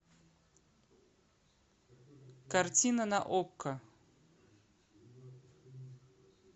картина на окко